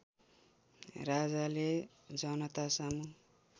राजाले जनतासामु